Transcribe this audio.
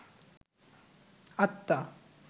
আত্মা